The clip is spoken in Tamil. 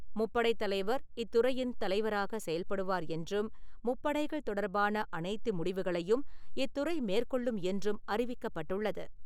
முப்படைத்தலைவர் இத்துறையின் தலைவராக செயல்படுவார் என்றும், முப்படைகள் தொடர்பான அனைத்து முடிவுகளையும் இத்துறை மேற்கொள்ளும் என்றும் அறிவிக்கப்பட்டுள்ளது.